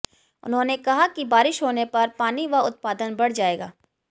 उन्होंने कहा कि बारिश होने पर पानी व उत्पादन बढ़ जाएगा